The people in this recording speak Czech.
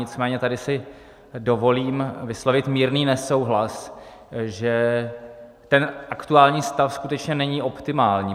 Nicméně tady si dovolím vyslovit mírný nesouhlas, že ten aktuální stav skutečně není optimální.